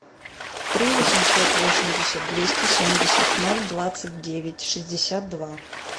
три восемьсот восемьдесят двести семьдесят ноль двадцать девять шестьдесят два